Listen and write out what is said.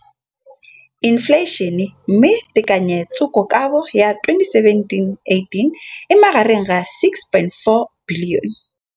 Infleišene, mme tekanyetsokabo ya 2017, 18, e magareng ga R6.4 bilione.